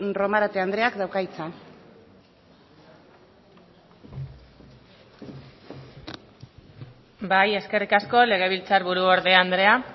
romarate andreak dauka hitza bai eskerrik asko legebiltzarburu orde andrea